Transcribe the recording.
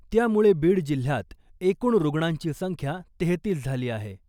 त्यामुळे बीड जिल्ह्यात एकूण रुग्णांची संख्या तेहेतीस झाली आहे .